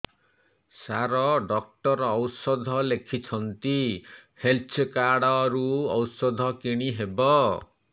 ସାର doctor ଔଷଧ ଲେଖିଛନ୍ତି health card ରୁ ଔଷଧ କିଣି ହେବ